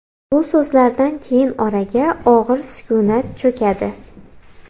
Bu so‘zlardan keyin oraga og‘ir sukunat cho‘kadi.